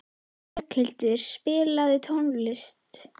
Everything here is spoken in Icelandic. Berghildur, spilaðu tónlist.